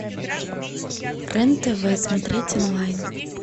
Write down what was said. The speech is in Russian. рен тв смотреть онлайн